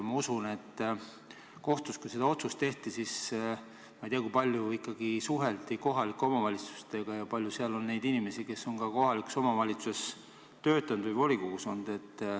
Ma ei tea, kui kohtus seda otsust tehti, siis kui palju ikkagi suheldi kohalike omavalitsustega ja kui palju seal on inimesi, kes on kohalikus omavalitsuses töötanud või volikogus olnud.